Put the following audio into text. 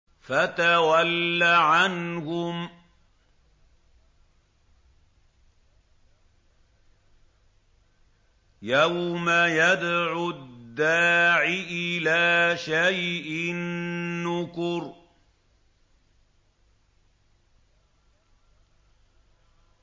فَتَوَلَّ عَنْهُمْ ۘ يَوْمَ يَدْعُ الدَّاعِ إِلَىٰ شَيْءٍ نُّكُرٍ